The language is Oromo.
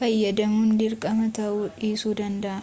fayyadamuun dirqama tawuu dhiisuu danda'a